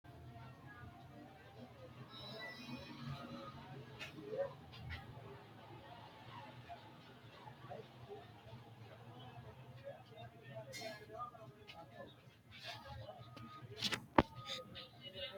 tini misile leellishshannorichi awaashi baankeha egenshiishsha ikkanna tini baankeno uyiitanno horo maati yiniro adi'noommo birra suuqirate woy mooraanchu adhannonkekki gede massine maaxirate kaa'litannonketa yaate.